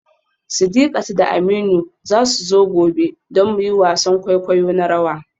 Sidiqat da Aminu za su zo gobe don mu yi wasan kwaikwayo na rawa.